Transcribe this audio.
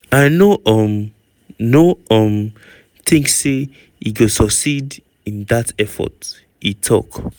"i no um no um tink say e go succeed in dat effort" e tok.